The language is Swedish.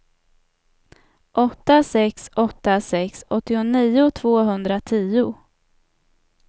åtta sex åtta sex åttionio tvåhundratio